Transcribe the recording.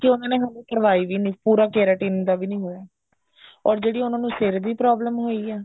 ਜਦ ਕਿ ਉਹਨਾ ਨੇ ਹਲੇ ਕਰਵਾਈ ਵੀ ਨਹੀਂ ਸੀ ਪੂਰਾ keratin ਦਾ ਵੀ ਨਹੀਂ ਹੋਇਆ or ਜਿਹੜੀ ਉਹਨਾ ਨੂੰ ਸਿਰ ਦੀ problem ਹੋਈ ਐ